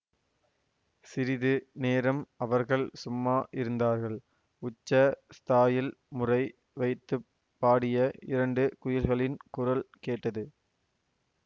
சிறிது நேரம் அவர்கள் சும்மா இருந்தார்கள் உச்ச ஸ்தாயில் முறை வைத்து பாடிய இரண்டு குயில்களின் குரல் கேட்டது